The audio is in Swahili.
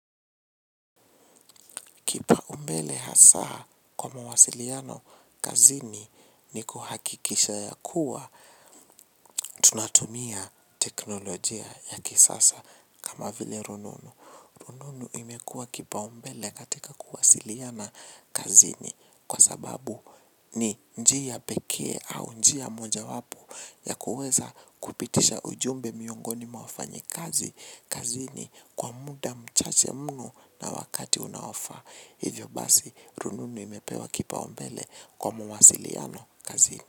Kipaumbele hasa kwa mawasiliano kazini ni kuhakikisha ya kuwa tunatumia teknolojia ya kisasa kama vile rununu. Rununu imekuwa kipaumbele katika kuwasiliana kazini kwa sababu ni njia pekee au njia mojawapo. Ya kuweza kupitisha ujumbe miongoni mwa wafanyikazi kazini kwa muda mchache mno na wakati unaofaa, hivyo basi rununu imepewa kipaumbele kwa mawasiliano kazini.